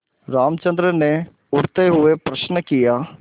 रामचंद्र ने उठते हुए प्रश्न किया